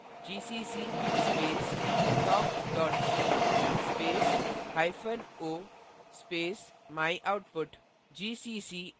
type करें gcc space talk c space hyphen c space myoutput